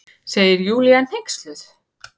segir Júlía hneyksluð.